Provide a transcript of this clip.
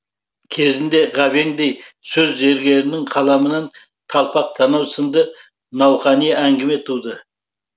кезінде ғабеңдей сөз зергерінің қаламынан талпақ танау сынды науқани әңгіме туды